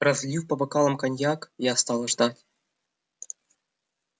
разлив по бокалам коньяк я стал ждать